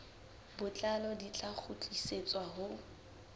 botlalo di tla kgutlisetswa ho